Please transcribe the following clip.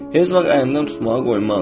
Heç vaxt əlimdən tutmağa qoymazdım.